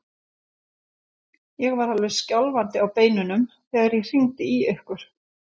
Ég var alveg skjálfandi á beinunum þegar ég hringdi í ykkur.